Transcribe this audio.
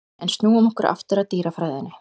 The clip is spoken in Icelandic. En snúum okkur aftur að dýrafræðinni.